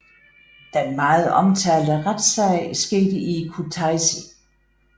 Den meget omtalte retssag skete i Kutaisi